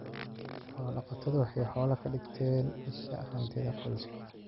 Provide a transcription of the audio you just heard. Xoolo-dhaqatodu waxay xoolaha ka dhigtaan isha hantida qoyska.